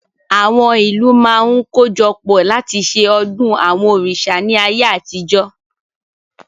Àwọn ìlú máa ń kojọpọ̀ láti ṣe ọdún àwọn òrìṣà ni ayé àtijọ́